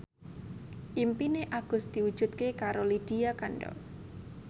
impine Agus diwujudke karo Lydia Kandou